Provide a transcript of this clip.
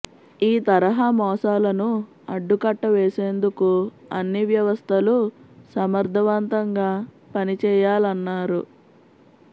ఈ తరహా మోసాలను అడ్డుకట్టవేసేందుకు అన్ని వ్యవస్థలు సమర్ధవంతంగా పని చేయాలన్నారు